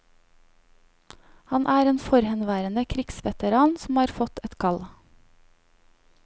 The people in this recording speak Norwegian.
Han er en forhenværende krigsveteran som har fått et kall.